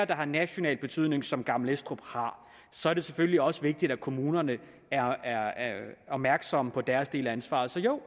der har national betydning som gammel estrup har så er det selvfølgelig også vigtigt at kommunerne er opmærksomme på deres del af ansvaret så jo